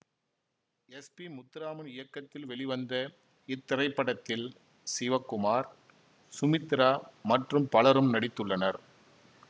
S P Muthuraman இயக்கத்தில் வெளிவந்த இத்திரைப்படத்தில் சிவகுமார் சுமித்ரா மற்றும் பலரும் நடித்துள்ளனர்